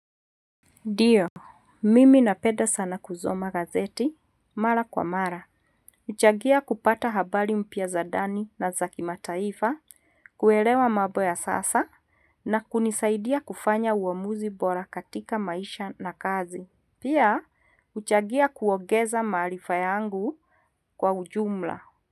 Ndio, mimi napeda sana kuzoma gazeti, mara kwa mara. Uchagia kupata habari mpya za dani na za kimataifa, kuelewa mabo ya sasa na kunisaidia kufanya uamuzi bora katika maisha na kazi. Pia, uchagia kuogeza maalifa yangu kwa ujumla.